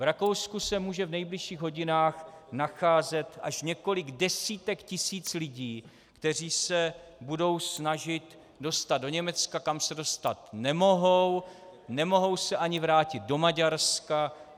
V Rakousku se může v nejbližších hodinách nacházet až několik desítek tisíc lidí, kteří se budou snažit dostat do Německa, kam se dostat nemohou, nemohou se ani vrátit do Maďarska.